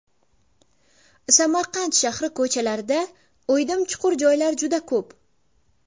Samarqand shahri ko‘chalarida o‘ydim-chuqur joylar juda ko‘p.